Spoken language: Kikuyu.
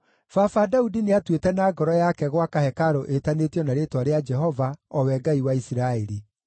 “Baba Daudi nĩatuĩte na ngoro yake gwaka hekarũ ĩĩtanĩtio na Rĩĩtwa rĩa Jehova, o we Ngai wa Isiraeli.